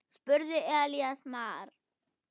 spurði Elías Mar.